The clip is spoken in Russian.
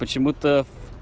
почему-то